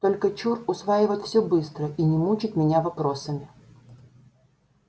только чур усваивать всё быстро и не мучить меня вопросами